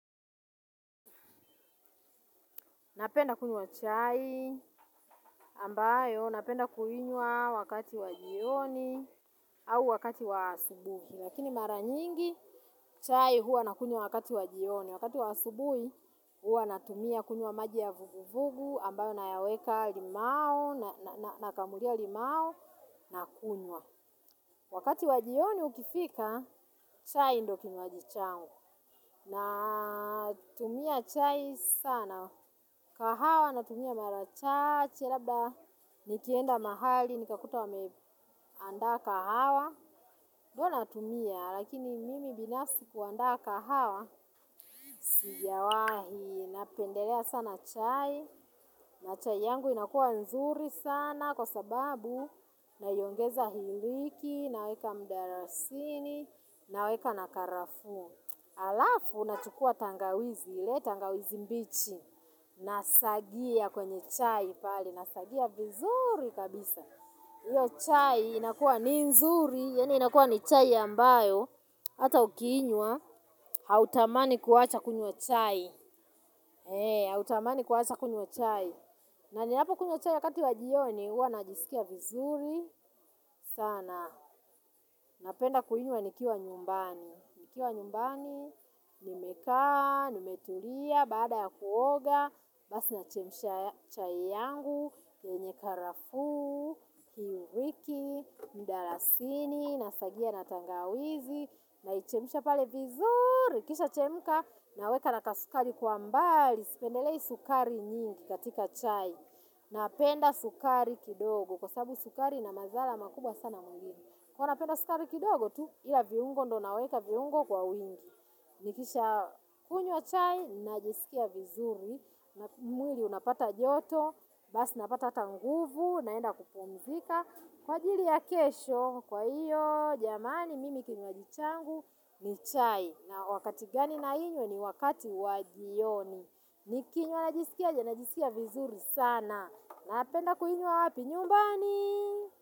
Napenda kunywa chai ambayo napenda kuinywa wakati wa jioni au wakati wa asubuhi. Lakini mara nyingi chai huwa nakunywa wakati wa jioni. Wakati wa asubuhi huwa natumia kunywa maji ya vuguvugu ambayo nayaweka limau nakamulia limao nakunywa. Wakati wa jioni ukifika chai ndo kinywaji changu. Natumia chai sana. Kahawa natumia mara chache, labda nikienda mahali, nikakuta wameandaa kahawa. Huwa natumia, lakini mimi binafsi huandaa kahawa. Sijawahi, napendelea sana chai. Na chai yangu inakuwa nzuri sana kwa sababu naiongeza iliki, naweka mdarasini, naweka na karafuu. Alafu nachukua tangawizi ile tangawizi mbichi nasagia kwenye chai nasagia vizuri kabisa hiyo chai inakua ni nzuri inakua ni chai ambayo hata ukiinywa hautamani kuwacha kunywa chai hautamani kuwacha kunywa chai na ninapokunywa chai wakati wa jioni huwa najisikia vizuri sana napenda kuinywa nikiwa nyumbani nikiwa nyumbani. Nimekaa, nimetulia, baada ya kuoga. Basi nachemsha chai yangu yenye karafuu, iriki, mdalasini. Nasagia na tangawizi. Naichemsha pale vizuri ikishachemka naweka na kasukari kwa mbali. Sipendelei sukari nyingi katika chai. Napenda sukari kidogo. Kwa sabu sukari ina madhara makubwa sana mwilini huwa napenda sukari kidogo tu. Ila viungo ndo naweka viungo kwa wingi. Nikishakunywa chai, najisikia vizuri, mwili unapata joto, basi napata hata nguvu, naenda kupumzika. Kwa ajiri ya kesho, kwa hiyo, jamani mimi kinywaji changu, ni chai. Na wakati gani nainywa ni wakati wa jioni. Nikinywa najisikiaje najisikia vizuri sana. Napenda kuinywa wapi nyumbani.